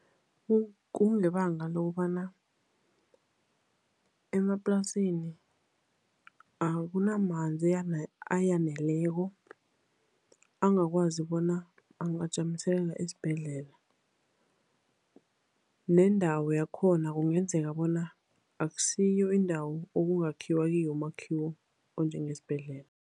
Kungebanga lokobana emaplasini akunamanzi ayaneleko angakwazi bona angajamiselela esibhedlela, nendawo yakhona kungenzeka bona akusiyo indawo okungakhiwa kiyo umakhiwo onjengesibhedlela.